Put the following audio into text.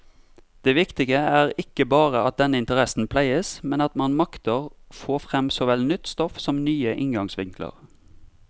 Det viktige er ikke bare at denne interessen pleies, men at man makter få frem såvel nytt stoff som nye inngangsvinkler.